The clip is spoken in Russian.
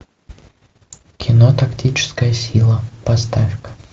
кино тактическая сила поставь ка